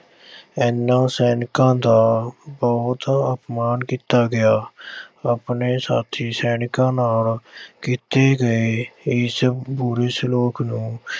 ਇਨ੍ਹਾਂ ਸੈਨਿਕਾਂ ਦਾ ਬਹੁਤ ਅਪਮਾਨ ਕੀਤਾ ਗਿਆ। ਆਪਣੇ ਸਾਥੀ ਸੈਨਿਕਾਂ ਨਾਲ ਕੀਤੇ ਗਏ ਇਸ ਬੁਰੇ ਸਲੂਕ ਨੂੰ